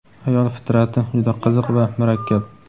Ayol fitrati juda qiziq va murakkab.